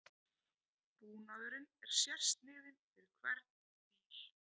Búnaðurinn er sérsniðinn fyrir hvern bíl